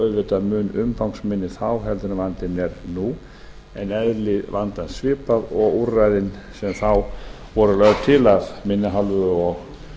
auðvitað mun umfangsminni þá heldur en vandinn er nú en eðli vandans svipað og úrræðin sem þá voru lögð til af minni hálfu og